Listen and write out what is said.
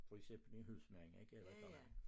For eksempel en husmand ikke eller et eller andet